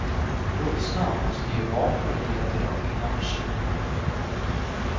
Vuxna måste ge barn möjligheter att kunna förstå.